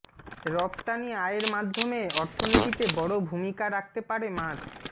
রফতানি আয়ের মাধ্যমে অর্থনীতিতে বড় ভূমিকা রাখতে পারে মাছ